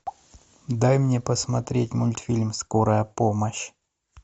дай мне посмотреть мультфильм скорая помощь